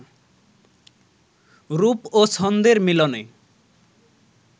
রূপ ও ছন্দের মিলনে